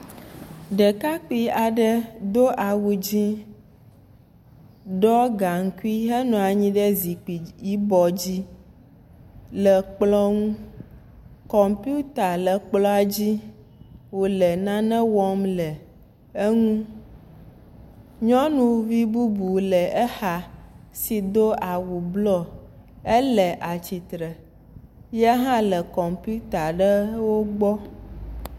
Ɖekakpui aɖe do awu dzɛ̃, ɖɔ gaŋkui henɔ anyi ɖe zikpui yibɔ dzi le kplɔ ŋu, kɔmpiuta le kplɔa dzi wòle nane wɔm le eŋu, nyɔnuvi bubu le exa, edo awu blu, ele atsitr, ye hã le kɔmpiuta ɖewo gbɔ.